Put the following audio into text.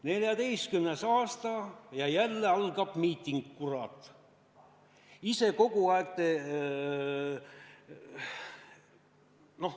2014. aasta ja jälle algab miiting, kurat!